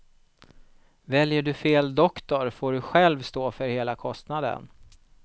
Väljer du fel doktor får du själv stå för hela kostnaden.